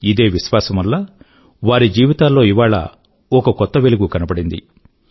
ఇదే విశ్వాసం వల్ల వారి జీవితాల్లో ఇవాళ ఒక కొత్త వెలుగు కనబడింది